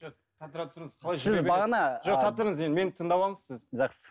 тұра тұрыңыз енді мені тыңдап алыңыз сіз жақсы